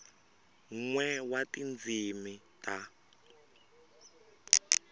n we wa tindzimi ta